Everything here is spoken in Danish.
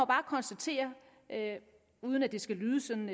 bare konstatere uden at det skal lyde sådan